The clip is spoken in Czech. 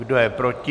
Kdo je proti?